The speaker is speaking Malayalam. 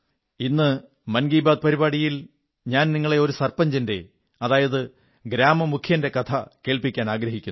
ഇന്ന് മൻ കീ ബാത്ത് പരിപാടിയിൽ ഞാൻ നിങ്ങളെ ഒരു സർപഞ്ചിന്റെ ഗ്രാമമുഖ്യന്റെ കഥ കേൾപ്പിക്കാനാഗ്രഹിക്കുന്നു